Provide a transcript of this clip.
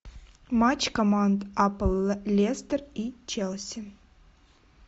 матч команд апл лестер и челси